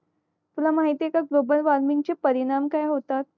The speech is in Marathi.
तुला माहिते का ग्लोबल वॉर्मिंगचे परिणाम काय होतात